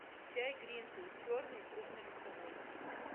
чай гринфилд черный крупнолистовой